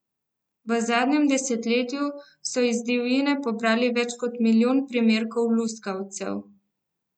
V zadnjem desetletju so iz divjine pobrali več kot milijon primerkov luskavcev.